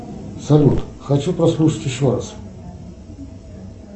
салют хочу послушать еще раз